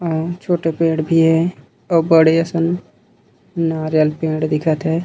आऊ छोटे पेड़ भी हे आऊ बड़े असन नारियल पेड़ भी दिखत हे।